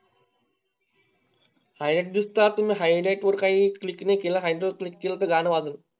हा एक दिसतं आतून highlight वर काई click नाही केला highlight वर click केलं तर गाणं वाजलं